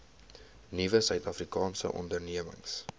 nuwe suidafrikaanse ondernemings